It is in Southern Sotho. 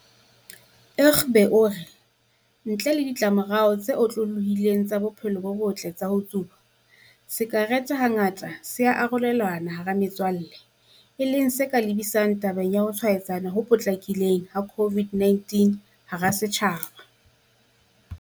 Egbe o re ntle le ditlamorao tse otlolohileng tsa bophelo bo botle tsa ho tsuba, sakerete hangata se ya arolelanwa hara metswalle e leng se ka lebisang tabeng ya ho tshwaetsana ho potlakileng ha COVID-19 hara badudi.